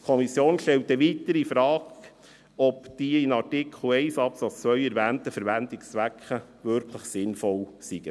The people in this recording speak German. Weiter stellt die Kommission infrage, ob die in Artikel 1 Absatz 2 erwähnten Verwendungszwecke wirklich sinnvoll seien.